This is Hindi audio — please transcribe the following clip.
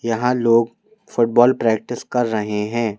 यहां लोग फुटबॉल प्रैक्टिस कर रहे हैं।